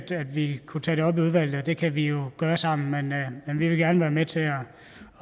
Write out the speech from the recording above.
vi kunne tage det op i udvalget og det kan vi jo gøre sammen men vi vil gerne være med til at